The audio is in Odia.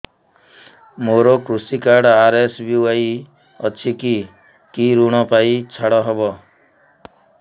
ମୋର କୃଷି କାର୍ଡ ଆର୍.ଏସ୍.ବି.ୱାଇ ଅଛି କି କି ଋଗ ପାଇଁ ଛାଡ଼ ହବ